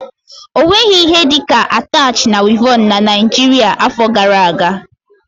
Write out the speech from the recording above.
Ọ nweghị ihe dị ka atach na wịevọn na Naijiria afọ gara aga.